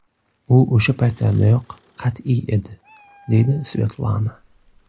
U o‘sha paytlardayoq qat’iy edi”, deydi Svetlana.